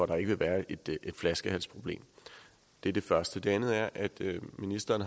der ikke vil være et flaskehalsproblem det er det første det andet er at ministeren